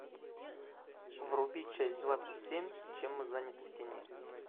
вруби часть двадцать семь чем мы заняты в тени